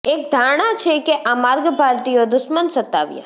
એક ધારણા છે કે આ માર્ગ ભારતીયો દુશ્મન સતાવ્યા